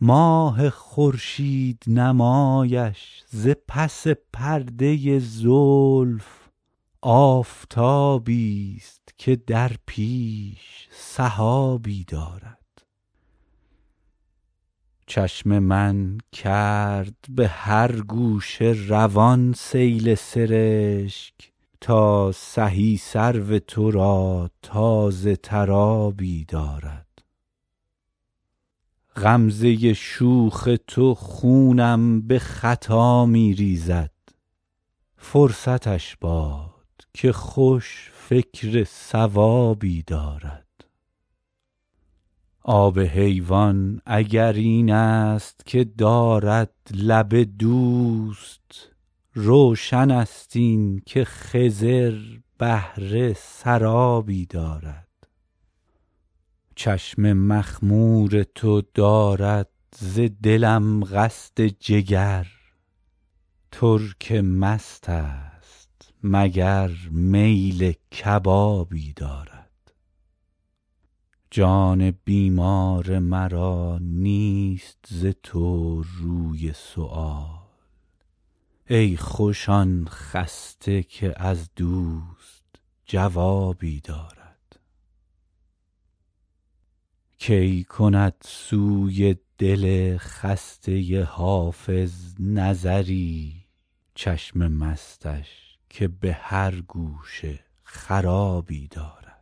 ماه خورشید نمایش ز پس پرده زلف آفتابیست که در پیش سحابی دارد چشم من کرد به هر گوشه روان سیل سرشک تا سهی سرو تو را تازه تر آبی دارد غمزه شوخ تو خونم به خطا می ریزد فرصتش باد که خوش فکر صوابی دارد آب حیوان اگر این است که دارد لب دوست روشن است این که خضر بهره سرابی دارد چشم مخمور تو دارد ز دلم قصد جگر ترک مست است مگر میل کبابی دارد جان بیمار مرا نیست ز تو روی سؤال ای خوش آن خسته که از دوست جوابی دارد کی کند سوی دل خسته حافظ نظری چشم مستش که به هر گوشه خرابی دارد